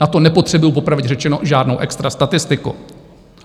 Na to nepotřebují popravdě řečeno žádnou extra statistiku.